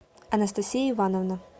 анастасия ивановна